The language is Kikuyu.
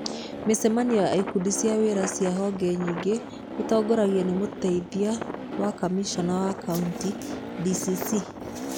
Mĩcemanio ya ikundi cia wĩra cia honge nyingĩ ĩtongoragio nĩ Mũteithia wa Kamishna wa Kaunti (DCC).